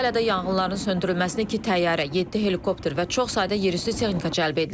Antalyada yanğınların söndürülməsinə iki təyyarə, yeddi helikopter və çox sayda yerüstü texnika cəlb edilib.